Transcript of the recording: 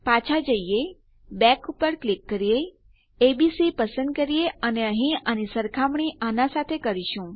પાછા જઈએ બેક પર ક્લિક કરીએ એબીસી પસંદ કરીએ અને અહીં આની સરખામણી આના સાથે કરીશું